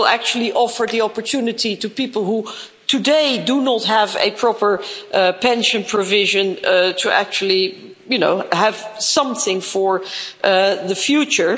It will actually offer the opportunity to people who today do not have a proper pension provision to actually have something for the future.